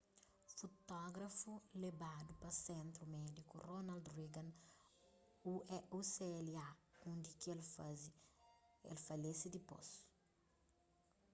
futógrafu lebadu pa sentru médiku ronald reagan ucla undi ki el falese dipôs